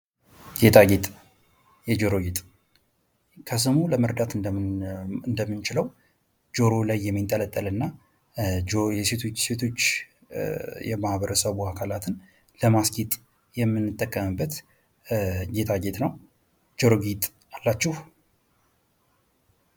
ጌጣጌጥ የጆሮ ጌጥ ከስሙ ለመረዳት እንደምንችለው ጆሮ ላይ የሚንጠለጠል እና ሴቶች የማህበረሰቡ አካላትን ለማስጌጥ የምንጠቀምበት ጌጣጌጥ ነው። ጆሮ ጌጥ አላችሁ?